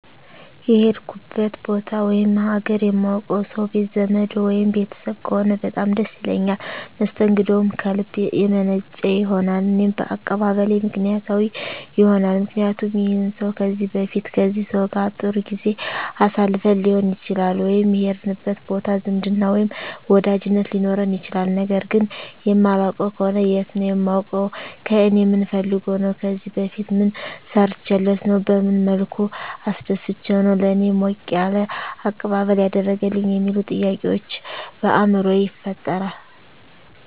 የሄድኩበት ቦታ ወይም ሀገር የማውቀው ሰው ቤት ዘመድ ወይም ቤተሰብ ከሆነ በጣም ደስ ይለኛል መስተንግደውም ከልብ የመነጨ ይሆናል እኔም አቀባበሌ ምክንያታዊ ይሆናልምክንያቱም ይህን ሰው ከዚህ በፊት ከዚህ ሰው ጋር ጥሩ ጊዜ አሳልፈን ሊሆን ይችላል ወይም የሄድንበት ቦታ ዝምድና ወይም ወዳጅነት ሊኖረን ይችላል ነገር ግን የማላውቀው ከሆነ የት ነው የማውቀው ከእኔ ምን ፈልጎ ነው ከዚህ በፊት ምን ሰርቸለት ነው በመን መልኩ አስደስቸው ነው ለእኔ ሞቅ ያለ አቀባበል ያደረገልኝ የሚሉ ጥያቄዎች በአይምሮየ ይፈጠራል